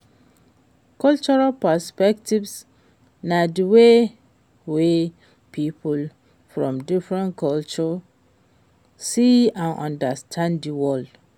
cultural perspectives na di way wey people from different cultures see and understand di world.